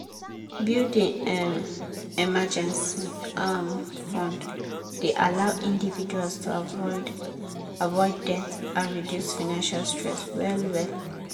building um emergency um fund dey allow individuals to avoid avoid debt and reduce financial stress well well.